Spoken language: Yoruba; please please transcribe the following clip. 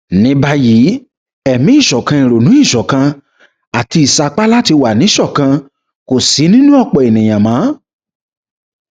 ní báyìí ẹmí ìṣọkan ìrònú ìṣọkan àti ìsapá láti wà níṣọkan kò sí nínú ọpọ èèyàn mọ